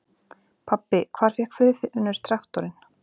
Pabbi, hvar fékk Friðfinnur traktorinn?